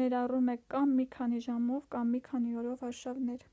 ներառում է կա՛մ մի քանի ժամով կա՛մ մի քանի օրով արշավներ: